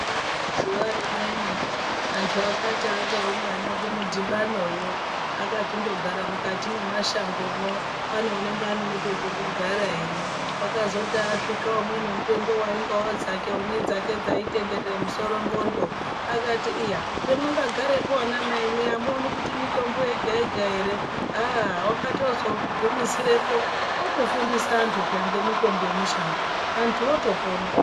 Zuwa rimweni antu akati akaungana kumudhibanoyo akachindogara mukati mwemashangomwo pane unenge ane nepekugara ere. Wakazoti asvika umweni mupengo waingawo zvake nedzake dzaitenderere musoro ndxondo akati ,"iya pemwakagarepo anamai amuoni kuti mitobo yega yega ere." Ahhh wakatozogumisirepo otofundisa antu peya ngemitombo yemushango antu otopona.